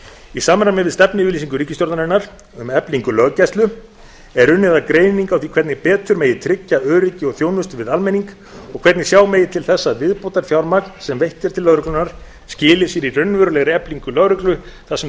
í samræmi við stefnuyfirlýsingu ríkisstjórnarinnar um eflingu löggæslu er unnið að greiningu á því hvernig betur megi tryggja öryggi og þjónustu við almenning og hvernig sjá megi til þess að viðbótarfjármagn sem veitt er til lögreglunnar skili sér í raunverulegri eflingu lögreglu þar sem